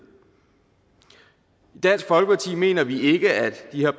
i dansk folkeparti mener vi ikke at de her